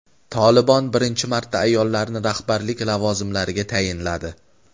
"Tolibon" birinchi marta ayollarni rahbarlik lavozimlariga tayinladi.